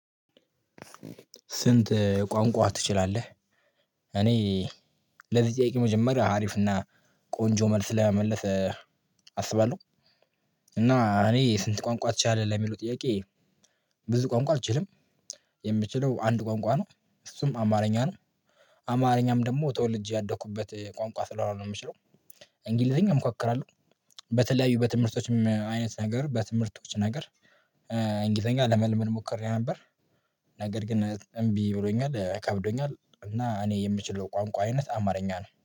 ስንት ቋንቋ ትችላለህ? እኔ ለዚህ ጥያቄ መጀመሪያ ሀሪፍና ቆንጆ መልስ ለመመለስ አስባለሁ። እና እኔ ስንት ቋንቋ ትችላለህ? ለሚሉት ጥያቄ ብዙ ቋንቋ አልችልም። የምችለው አንድ ቋንቋ ነው። እሱም አማርኛ ነው። አማርኛም ደግሞ ተወልጄ ያደኩበት ቋንቋ ስለሆነ ነው የምችለው። እንግሊዘኛ እሞካክራለሁ። በተለያዩ በትምህርቶችም አይነት ነገር በትምህርቶች ነገር እንግሊዘኛ ለመልመድ ሞክሬ ነበር። ነገር ግን እምቢ ብሎኛል። ከብዶኛል። እና እኔ የምችለው ቋንቋ አይነት አማርኛ ነው።